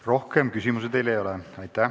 Rohkem küsimusi teile ei ole.